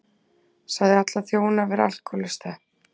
Sagði alla þjóna vera alkóhólista